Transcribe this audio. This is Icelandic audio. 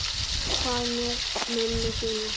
Hvað með mömmu þína?